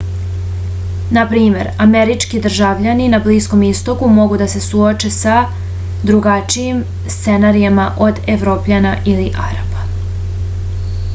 na primer američki državljani na bliskom istoku mogu da se suoče sa drugačijim scenarijima od evropljana ili arapa